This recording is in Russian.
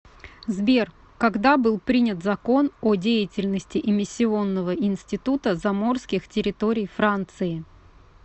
сбер когда был принят закон о деятельности эмиссионного института заморских территорий франции